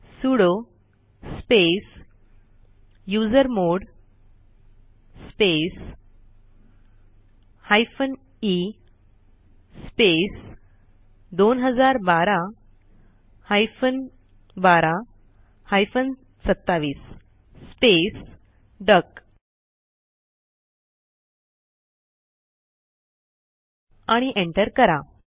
sudo space usermod space hyphen e space 2012 hyphen 12 hyphen 27 space duck आणि enter करा